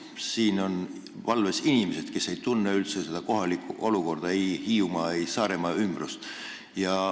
Siin on valves inimesed, kes ei tunne üldse kohalikku olukorda, ei Hiiumaa ega Saaremaa ümbrust.